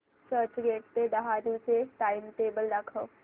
चर्चगेट ते डहाणू चे टाइमटेबल दाखव